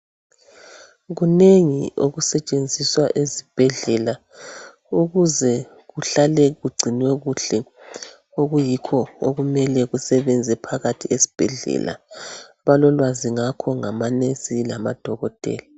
kunengi okusetshenziswa esibhedlela ukuze kuhlale kugcinwe kuhle okuyikho okumele kusebenze phakathi esibhedlela balolwazi ngakho ngama nurse lama dokotela